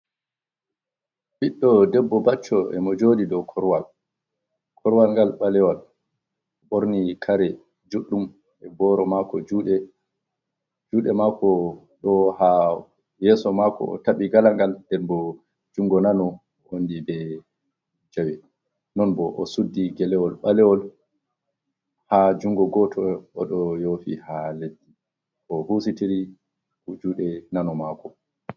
Ɓiɗɗo debbo bacco e mo jooɗi dow korowal .Korowal ngal ɓalewal ɓorni kare juɗɗum e booro. Juuɗe maako ɗo haa yeeso maako ,o taɓi galangal nden bo junngo nano wondi be jawe. Non bo o suddi gelewol ɓaleewol haa junngo gooto ,o ɗo yoofi haa leddi, o husitiri juuɗe nano maako.